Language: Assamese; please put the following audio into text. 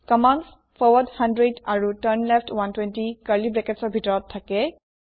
কম্মান্দ ফৰৱাৰ্ড 100 আৰু টাৰ্ণলেফ্ট 120 কাৰ্লী ব্ৰেকেটৰ ভিতৰত থাকে